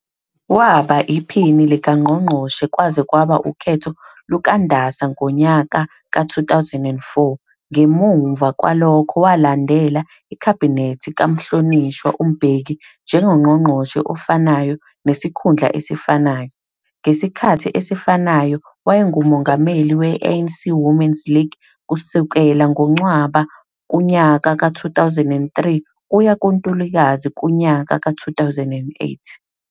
Waba iphini likaNgqongqoshe kwaze kwaba ukhetho lukaNdasa ngonyaka ka-2004, ngemuva kwalokho walandela Ikhabinethi kaMhlonishwa uMbeki njengongqongqoshe ofanayo nesikhundla esifanayo. Ngesikhathi esifanayo, wayenguMongameli we-ANC Women's League kusukela ngoNcwaba kunyaka ka-2003 kuya kuNtulikazi kunyaka ka-2008.